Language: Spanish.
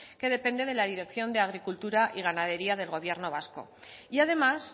que depende de la dirección de agricultura y ganadería del gobierno vasco y además